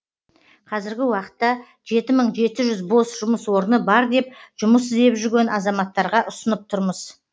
қазіргі уақытта жеті мың жеті жүз бос жұмыс орны бар деп жұмыс іздеп жүрген азаматтарға ұсынып тұрмыз